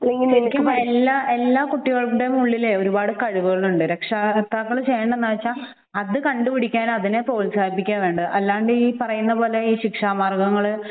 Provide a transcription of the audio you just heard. എനിക്ക് തോന്നുന്നു എല്ലാ കുട്ടികളുടെയും ഉള്ളിൽ ഒരുപാട് കഴിവുകളുണ്ട് രക്ഷകർത്താക്കൾ ചെയ്യേണ്ടത് എന്താണെന്നു വച്ചാൽ അത് കണ്ടുപിടിക്കുകയും അതിനെ പ്രോത്സാഹിപ്പിക്കുകയുമാണ് വേണ്ടത് അല്ലാണ്ട് ഈ പറയുന്ന പോലെയുള്ള ശിക്ഷാമാർഗ്ഗങ്ങൾ